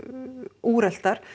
úreltar